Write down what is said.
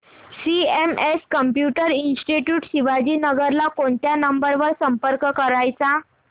CMS computer institute Shivajinagar ला कोणत्या number वर संपर्क करायचा